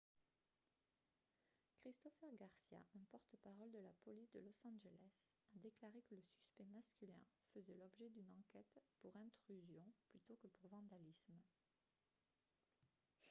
christopher garcia un porte-parole de la police de los angeles a déclaré que le suspect masculin faisait l'objet d'une enquête pour intrusion plutôt que pour vandalisme